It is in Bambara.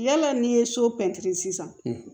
Yala n'i ye so pɛntiri sisan